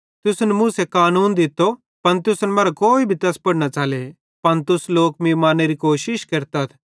तुसन मूसे कानून दित्तो पन तुसन मरां कोई भी तैस पुड़ न च़ले पन तुस लोक मीं मारनेरी कोशिश केरतथ